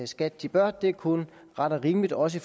skat de bør det er kun ret og rimeligt også